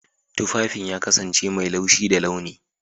Tufafin ya kasance mai laushi da launi.